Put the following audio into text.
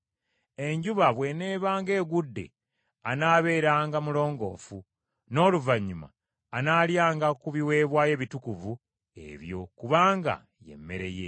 Enjuba bw’eneebanga egudde anaabeeranga mulongoofu; n’oluvannyuma anaalyanga ku biweebwayo ebitukuvu ebyo, kubanga ye mmere ye.